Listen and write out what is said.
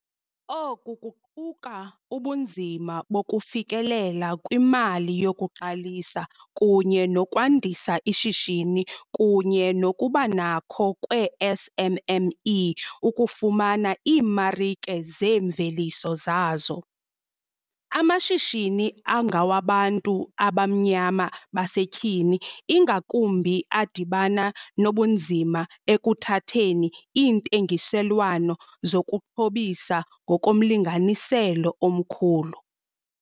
Oku kuquka ubunzima bokufikelela kwimali yokuqalisa kunye nokwandisa ishishini kunye nokubanakho kweeSMME ukufumana iimarike zeemveliso zazo. Amashishini angawabantu abamnyama basetyhini, ingakumbi, adibana nobunzima ekuthatheni iintengiselwano zokuxhobisa ngokomlinganiselo omkhulu.